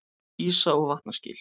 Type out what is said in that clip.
Ísa- og vatnaskil.